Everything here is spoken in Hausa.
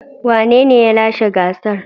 Wanene ya lashe gasar.